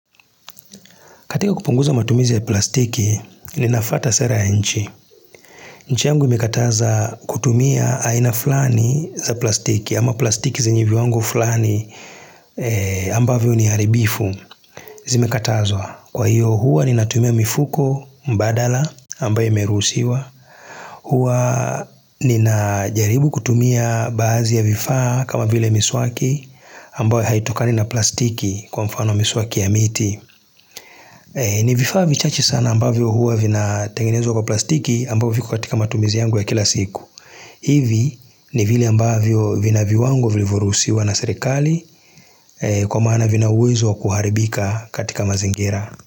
Katika kupunguza matumizi ya plastiki, ninafwata sera ya nchi. Nchi yangu imekataza kutumia aina flani za plastiki, ama plastiki zenye viwango fulani ambavyo ni haribifu. Zimekatazwa, kwa hiyo huwa ninatumia mifuko mbadala ambayo imeruhusiwa. Huwa ninajaribu kutumia baadhi ya vifaa kama vile miswaki ambayo haitokani na plastiki kwa mfano miswaki ya miti. Ni vifaai vichache sana ambavyo huwa vinatengenezwa kwa plastiki ambavyo viko katika matumizi yangu ya kila siku hivi ni vile ambavyo vina viwango vilyoruhusiwa na serikali kwa maana vina uwezo kuharibika katika mazingira.